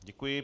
Děkuji.